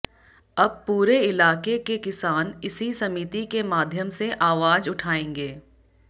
अब पूरे इलाके के किसान इसी समिति के माध्यम से आवाज उठाएंगे